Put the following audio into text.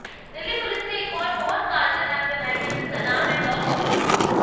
Delhi police ने एक और बहोत कारगर ऐप बनायीं है जिसका नाम है लॉस्ट रिपोर्ट